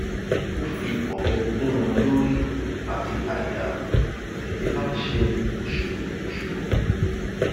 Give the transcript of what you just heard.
ó fi ọbẹ gún un lórí àti àyà lẹjẹ bá ń ṣe ṣùrùṣùrù